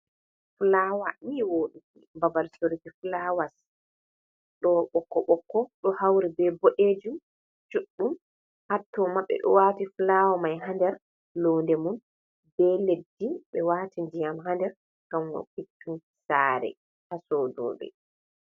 Fulawa ni woɗugo, Babal soruki fulawas do ɓokko ɓokko ɗo hauri be boɗejum juɗɗum hatto mabbe do wati fulawa mai ha nɗer loode mum, be leddi ɓe wati ndiyam ha nder gam fottungo sare hasodoɓe.